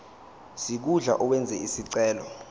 sikhundla owenze isicelo